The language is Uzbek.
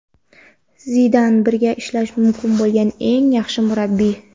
Zidan birga ishlash mumkin bo‘lgan eng yaxshi murabbiy.